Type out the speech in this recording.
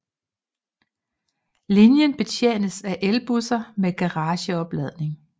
Linjen betjenes af elbusser med garageopladning